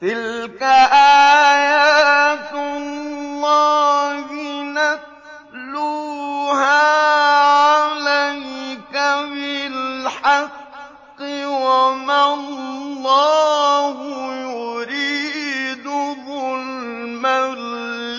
تِلْكَ آيَاتُ اللَّهِ نَتْلُوهَا عَلَيْكَ بِالْحَقِّ ۗ وَمَا اللَّهُ يُرِيدُ ظُلْمًا